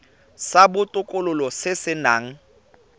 sa botokololo se se nang